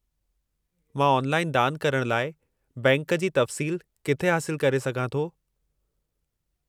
मां ऑनलाइन दान करणु लाइ बैंक जी तफ़्सील किथे हासिलु करे सघां थो?